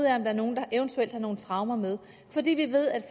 er nogen der eventuelt har nogle traumer med fordi vi ved at